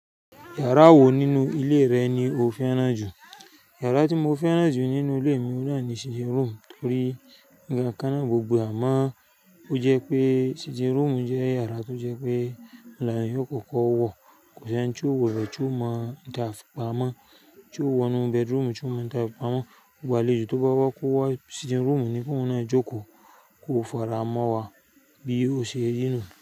Yàrá wo nínú ilé rẹ ni o fẹ́ràn jù? Yàrá tí mo fẹ́ràn jù nínú ilé mi ni sitting room torí nígbà kan náà gbogbo à máa, ó jẹ́ pé sitting room jẹ́ yàrá tó jẹ́ pé làáyì ó kọ́kọ́ wọ̀, kò sí eni tio wọ̀ ibẹ tío máa òun tafi pamọ́, tí o wọ̀ ínú bedroom tí o máa ouń tàfi pamọ́, gbogbo àlejò tó bá wá kò wá sitting room ni koun náa jókòó, kó faramọ́ wa bí ó ṣe rí nú.